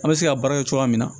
An bɛ se ka baara kɛ cogoya min na